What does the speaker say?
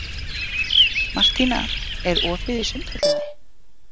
Martína, er opið í Sundhöllinni?